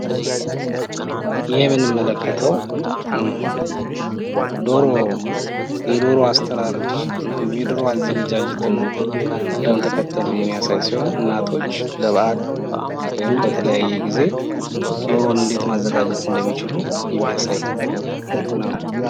ይህ የምንመለከተው ዶሮ የዶሮ አስተራረድ ወይም የዶር አዘገጃጀትን ነው። ቅደም ተከተል የሚይሳይ ሲሆን እናቶች ለበዓል ወይም በተለያየ ጊዜ ዶሮን እንዴ ማዘጋጀት እንድሚችሉ የሚያሳይ ነው።